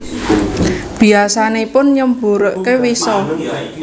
Biyasanipun nyemburaken wisa